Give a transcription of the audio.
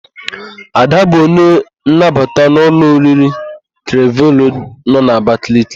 Ada bụ onye nnabata n'ụlọ oriri Klevero nọ n'Abakaliki.